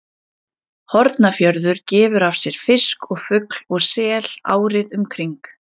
Hornafjörður gefur af sér fisk og fugl og sel árið um kring.